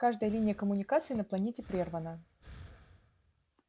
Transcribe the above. каждая линия коммуникации на планете прервана